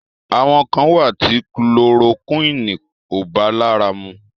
Àwọn kàn wà tí kulorokúìnì ò bá lára mu.